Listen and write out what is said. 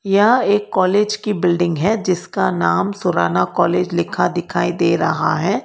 यह एक कॉलेज की बिल्डिंग है जिसका नाम सुराना कॉलेज लिखा दिखाई दे रहा है।